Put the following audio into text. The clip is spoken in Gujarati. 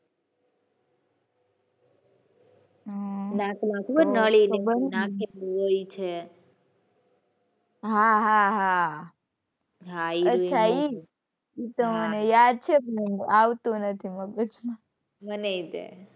હમ્મ . હાં હાં હાં. અચ્છા એ એ તો મને યાદ છે પણ આવતું નથી મગજ માં. મનેય તે.